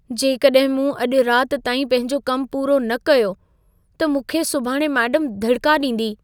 जेकॾहिं मूं अॼु रात ताईं पंहिंजो कमु पूरो न कयो, त मूंखे सुभाणे मेडम धड़िका ॾींदी।